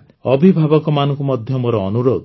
ତାଛଡ଼ା ଅଭିଭାବକମାନଙ୍କୁ ମଧ୍ୟ ମୋର ଅନୁରୋଧ